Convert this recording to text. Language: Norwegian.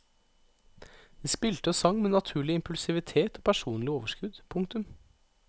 De spilte og sang med naturlig impulsivitet og personlig overskudd. punktum